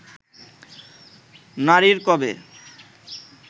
নারীর কবে